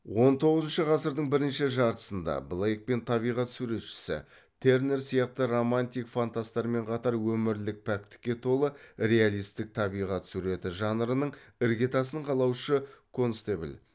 он тоғызыншы ғасырдың бірінші жартысында блейк пен табиғат суретшісі тернер сияқты романтик фантастармен қатар өмірлік пәктікке толы реалистік табиғат суреті жанрының іргетасын қалаушы констебл